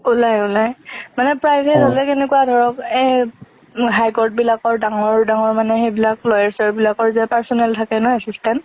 ওলাই ওলাই, মানে private হলে কেনেকুয়া ধৰক এই high court বিলাকৰ ডাঙৰ ডাঙৰ মানে সেইবিলাক lawyer চয়েৰ বিলাকৰ যে personal থাকে না assistant